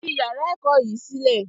Fi yàrá ẹ̀kọ́ yìí sílẹ̀!